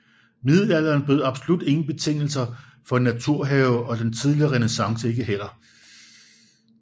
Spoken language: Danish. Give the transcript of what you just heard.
Middelalderen bød absolut ingen betingelser for en naturhave og den tidlige renæssance ikke heller